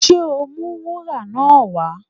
Ṣé o ó mú wúrà náà wá?